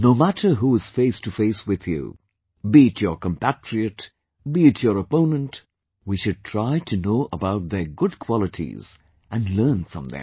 No matter who is face to face with you, be it your compatriot, be it your opponent, we should try to know about their good qualities and learn from them